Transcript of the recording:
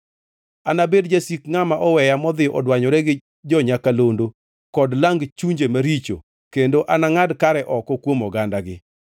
Anabed jasik ngʼama oweya modhi odwanyore gi jo-nyakalondo kod lang chunje maricho; kendo anangʼad kare oko kuom ogandagi.